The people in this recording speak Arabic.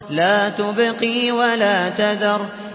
لَا تُبْقِي وَلَا تَذَرُ